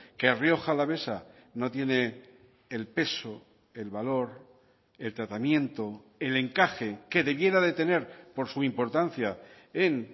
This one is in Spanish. que rioja alavesa no tiene el peso el valor el tratamiento el encaje que debiera de tener por su importancia en